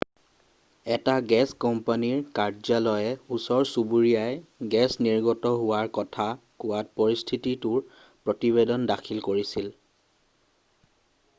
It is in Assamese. এটা গেছ কোম্পানীৰ কাৰ্যালয়ে ওচৰ-চুবুৰীয়াই গেছ নিৰ্গত হোৱাৰ কথা কোৱাত পৰিস্থিতিটোৰ প্ৰতিবেদন দাখিল কৰিছিল